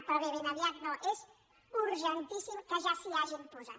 però bé ben aviat no és urgen·tíssim que ja s’hi hagin posat